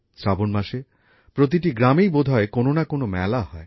শ্রাবন মাসে প্রতিটি গ্রামেই বোধহয় কোনো না কোনো মেলা হয়